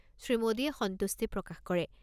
শ্ৰীমোদীয়ে সন্তুষ্টি প্ৰকাশ কৰে।